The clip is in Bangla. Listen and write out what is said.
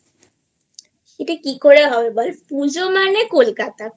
এটা কি করে হয় বল পুজো মানে কলকাতা